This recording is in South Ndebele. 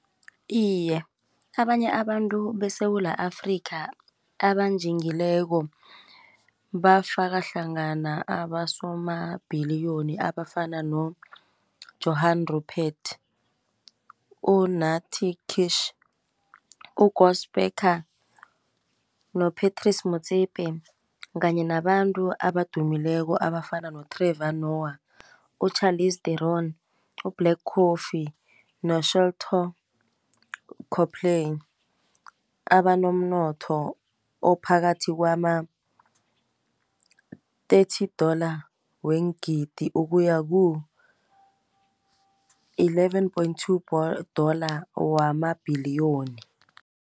Iye abanye abantu beSewula Afrika abanjingileko, bafaka hlangana abasomabhiliyoni abafana no-Johann Rupert, uNathi Kish, u-Gospecar, no-Patrice Motsepe, kanye nabantu abadumileko abafana no-Trevor Noah, u-Charlies Deron, u-Black Coffee, no-Shelto Coplee. Abanomnotho ophakathi kwama-thirty dollar weengidi, ukuya ku-eleven point two dollar wamabhiliyoni.